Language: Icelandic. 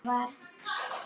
Anna og Konráð.